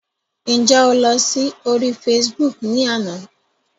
Ǹjẹ́ o lọ sí orí Facebook ni àná?